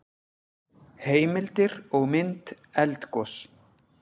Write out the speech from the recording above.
Heimildir og mynd Eldgos.